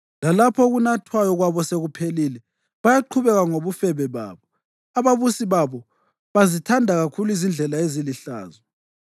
Lalapho okunathwayo kwabo sekuphelile, bayaqhubeka ngobufebe babo; ababusi babo bazithanda kakhulu izindlela ezilihlazo.